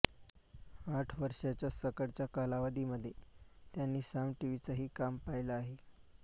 आठ वर्षाच्या सकाळच्या कालावधीमध्ये त्यांनी साम टिव्हीचंही काम पाहिलं आहे